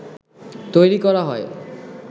তৈরি করা হয়